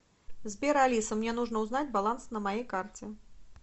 сбер алиса мне нужно узнать баланс на моей карте